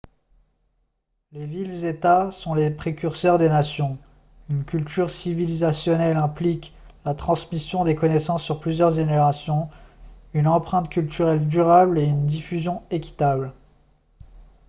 les villes-états sont les précurseurs des nations une culture civilisationnelle implique la transmission des connaissances sur plusieurs générations une empreinte culturelle durable et une diffusion équitable